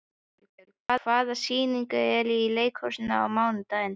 Elínbjörg, hvaða sýningar eru í leikhúsinu á mánudaginn?